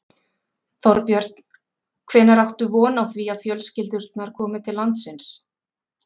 Þorbjörn: Hvenær áttu von á því að fjölskyldurnar komi til landsins?